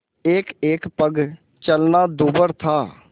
एकएक पग चलना दूभर था